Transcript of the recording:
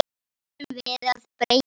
Því ætlum við að breyta.